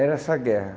Era essa guerra.